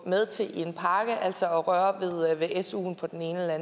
med til i en pakke altså at røre ved suen på den ene eller